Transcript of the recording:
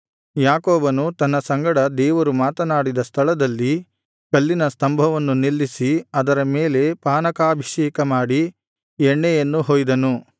ಯಾಕೋಬನು ತನ್ನ ಸಂಗಡ ದೇವರು ಮಾತನಾಡಿದ ಸ್ಥಳದಲ್ಲಿ ಕಲ್ಲಿನ ಸ್ತಂಭವನ್ನು ನಿಲ್ಲಿಸಿ ಅದರ ಮೇಲೆ ಪಾನಕಾಭಿಷೇಕಮಾಡಿ ಎಣ್ಣೆಯನ್ನು ಹೊಯ್ದನು